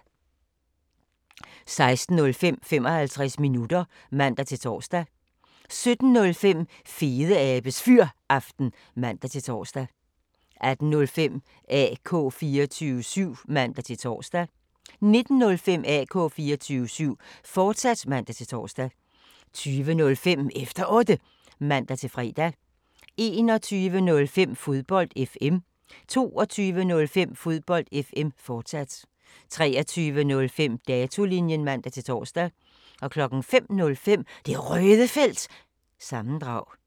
16:05: 55 minutter (man-tor) 17:05: Fedeabes Fyraften (man-tor) 18:05: AK 24syv (man-tor) 19:05: AK 24syv, fortsat (man-tor) 20:05: Efter Otte (man-fre) 21:05: Fodbold FM 22:05: Fodbold FM, fortsat 23:05: Datolinjen (man-tor) 05:05: Det Røde Felt – sammendrag